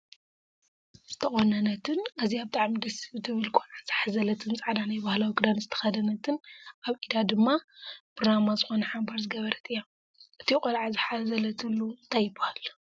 ዝተቆነነት ኣዝያ ብጣዕሚ ደስ ትብል ቆልዓ ዝሓዘለትፃዕዳ ናይ ባህላዊ ክዳን ዝተከደነትን ኣብ ኢዳ ድማ ብራማ ዝኮነ ሓምባር ዝገበረት እያ። እቱይ ቆልዓ ዝሓዘለትሉ እንታይ ይብሃል?